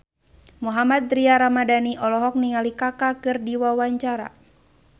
Mohammad Tria Ramadhani olohok ningali Kaka keur diwawancara